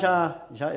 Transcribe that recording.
Já, já.